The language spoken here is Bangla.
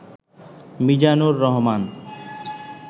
মিজানুর রহমান